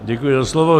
Děkuji za slovo.